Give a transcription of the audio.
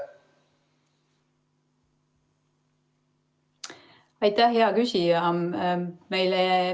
Aitäh, hea küsija!